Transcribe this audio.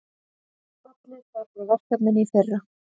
Fallið var frá verkefninu í fyrra